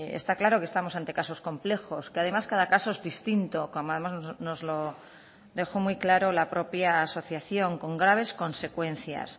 está claro que estamos ante casos complejos que además cada caso es distinto como además nos lo dejó muy claro la propia asociación con graves consecuencias